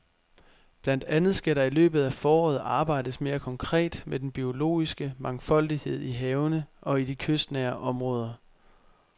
Blandt andet skal der i løbet af foråret arbejdes mere konkret med den biologiske mangfoldighed i havene og i de kystnære områder.